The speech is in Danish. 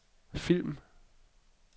film